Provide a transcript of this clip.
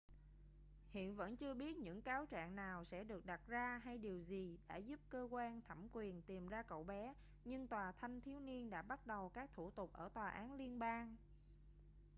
hiện vẫn chưa biết những cáo trạng nào sẽ được đặt ra hay điều gì đã giúp cơ quan thẩm quyền tìm ra cậu bé nhưng tòa thanh thiếu niên đã bắt đầu các thủ tục ở tòa án liên bang